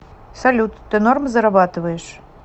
салют ты норм зарабатываешь